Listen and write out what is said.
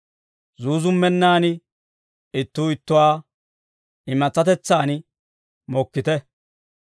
Zuuzummennan ittuu ittuwaa imatsatetsaan mokkite.